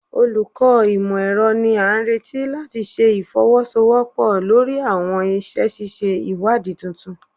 Olukọ imọ-ẹrọ ni a nireti lati ṣe ifowosowopo lori awọn iṣẹ ṣiṣe iwadii tuntun